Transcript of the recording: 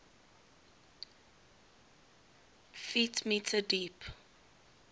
ft m deep